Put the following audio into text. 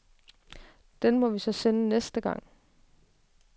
Den må vi så sende næste gang.